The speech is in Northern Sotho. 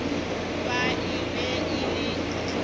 ba e be e le